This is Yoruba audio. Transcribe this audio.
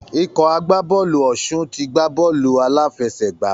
Ikọ̀ agbábọ̀ọ̀lù Ọ̀ṣun ti gbá bọ́ọ̀lù aláfẹ̀sẹgbà.